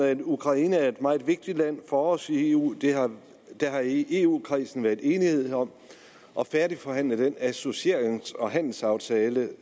at ukraine er et meget vigtigt land for os i eu der har i eu kredsen været enighed om at færdigforhandle den associerings og handelsaftale